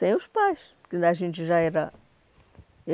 Sem os pais. Porque a gente já era